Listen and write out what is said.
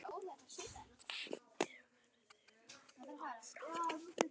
En verður hann áfram?